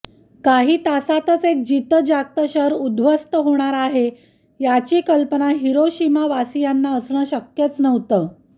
काही तासांतच एक जितंजागतं शहर उद्ध्वस्त होणार आहे याची कल्पना हिरोशिमावासीयांना असणं शक्यच नव्हतं